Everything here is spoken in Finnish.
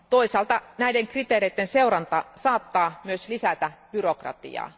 Toisaalta näiden kriteereiden seuranta saattaa myös lisätä byrokratiaa.